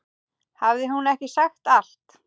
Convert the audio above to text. Hafði hún ekki sagt allt?